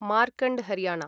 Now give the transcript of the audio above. Markand Haryana